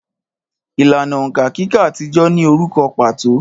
Ìlànà òǹkà kíkà àtijọ́ ní orúkọ pàtó